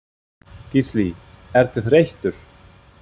Gísli: Ertu þreyttur?